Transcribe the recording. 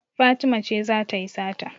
Fatima ce za ta yi sata.